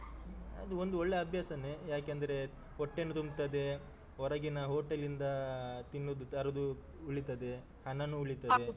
ಅದು ಒಂದು ಒಳ್ಳೆ ಅಭ್ಯಾಸನೆ, ಯಾಕೆ ಅಂದ್ರೆ ಹೊಟ್ಟೆನು ತುಂಬ್ತದೆ, ಹೊರಗಿನ ಹೋಟೆಲ್‌ ಇಂದ ತಿನ್ನುದು ತರುದು ಉಳಿತದೆ, ಹಣನು ಉಳಿತದೆ.